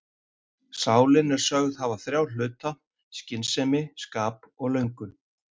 Sálin er sögð hafa þrjá hluta, skynsemi, skap og löngun.